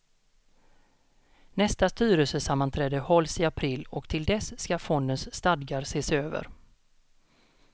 Nästa styrelsesammanträde hålls i april och till dess ska fondens stadgar ses över.